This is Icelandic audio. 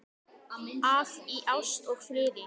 að í ást og friði